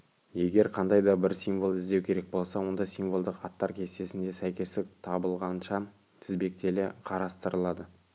егер қандай да бір символды іздеу керек болса онда символдық аттар кестесінде сәйкестік табылғанша тізбектеле қарастырылады